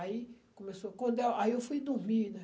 Aí começou, quando é, aí eu fui dormir, né?